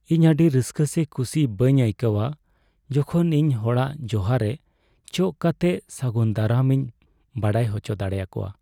ᱤᱧ ᱟᱹᱰᱤ ᱨᱟᱹᱥᱠᱟᱹ ᱥᱮ ᱠᱩᱥᱤ ᱵᱟᱹᱧ ᱟᱹᱭᱠᱟᱹᱣᱟ ᱡᱚᱠᱷᱚᱱ ᱤᱧ ᱦᱚᱲᱟᱜ ᱡᱚᱦᱟ ᱨᱮ ᱪᱚᱜ ᱠᱟᱛᱮ ᱥᱟᱹᱜᱩᱱ ᱫᱟᱨᱟᱢ ᱤᱧ ᱵᱟᱲᱟᱭ ᱦᱚᱪᱚ ᱫᱟᱲᱮᱭᱟᱠᱚᱣᱟ ᱾